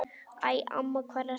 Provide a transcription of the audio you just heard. Æ, amma, hvar ertu?